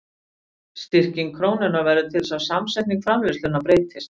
Styrking krónunnar verður til þess að samsetning framleiðslunnar breytist.